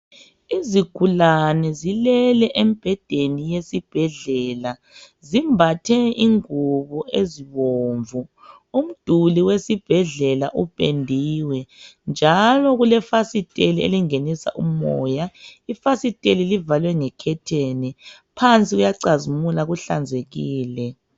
Izigulane zilele embhedeni yesibhedlela zimbathe ingubo ezibomvu. Umduli wesibhedlela upendiwe njalo kulefasitela elingenisa umoya. Ifasiteli livalwe ngekhetheni phansi kuyacazimula kuhlanzekile.